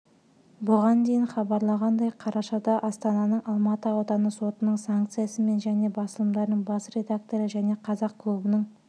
бұған дейін хабарланғандай қарашада астананың алматы ауданы сотының санкциясымен және басылымдарының бас редакторы және қазақ клубының